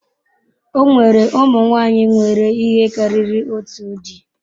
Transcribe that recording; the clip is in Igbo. O nwere ụmụ nwanyị nwere ihe karịrị otu di.